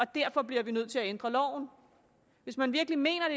derfor bliver nødt til at ændre loven hvis man virkelig mener